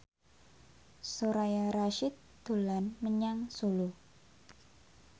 Soraya Rasyid dolan menyang Solo